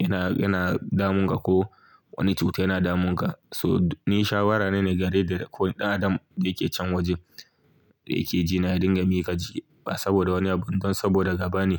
yana, yana damun ka ko wani cuta yana damun ka. So ni shawara na ne gare da ko ɗan adam da yake can wajen da yake jiya ya dinga mika jiki. Ba saboda wani abu ba don saboda gaba ne.